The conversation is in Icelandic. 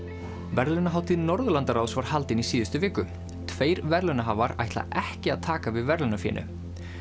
verðlaunahátíð Norðurlandaráðs var haldin í síðustu viku tveir verðlaunahafar ætla ekki að taka við verðlaunafénu